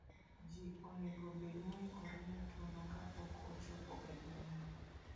Ji onego obed moikore ne tuono kapok ochopo e gweng'no.